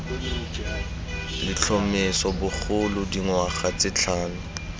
letlhomeso bogolo dingwaga tse tlhano